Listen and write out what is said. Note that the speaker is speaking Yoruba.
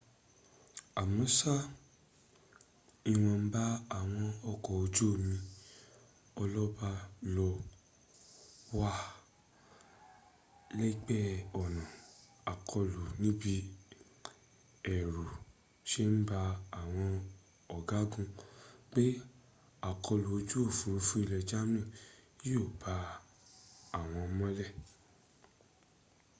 amọ́ṣá ìwọ̀nba àwọn ọkọ̀ ojú omi ọlọ́ba ló wà lẹ́gbẹ̀ẹ́ ọ̀nà àkọlù níbí ẹ̀rù se ń ba àwọn ọ̀gágun pé àkọlù ojú òfúrufú ilẹ̀ germany yíó bo àwọn mọ́lẹ